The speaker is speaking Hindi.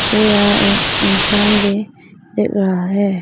मुझे यहां एक इंसान भी दिख रहा है।